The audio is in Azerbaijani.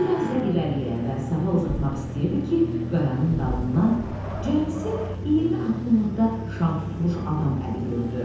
Bir az da irəliyə və sağa uzatmaq istəyirdi ki, qayanın dalından cəmi 20 addımlıqda şam tutmuş adam əli gördü.